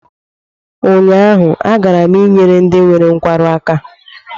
Ụnyaahụ, agara m ịnyere ndị nwere nkwarụ aka